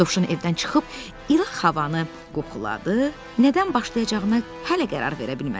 Dovşan evdən çıxıb ilıq havanı qoxuladı, nədən başlayacağına hələ qərar verə bilmədi.